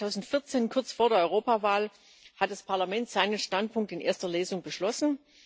Im April 2014, kurz vor der Europawahl, hat das Parlament seinen Standpunkt in erster Lesung beschlossen.